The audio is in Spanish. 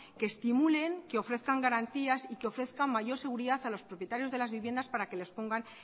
que estimulen que ofrezcan garantías y que ofrezca mayor seguridad a los propietarios de las viviendas para que los pongan